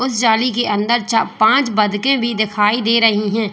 उसे जाली के अंदर पांच बटके भी दिखाई दे रही हैं।